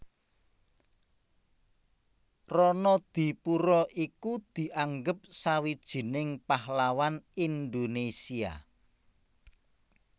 Ronodipuro iku dianggep sawijining pahlawan Indonesia